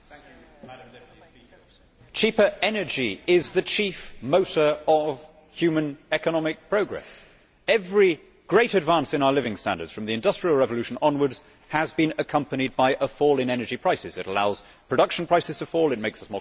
Madam President, cheaper energy is the chief motor of human economic progress. Every great advance in our living standards, from the Industrial Revolution onwards, has been accompanied by a fall in energy prices that allows production prices to fall and makes us more competitive.